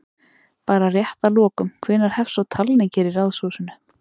Bara rétt að lokum, hvenær hefst svo talning hér í Ráðhúsinu?